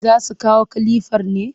Za su kawo kalifar ne?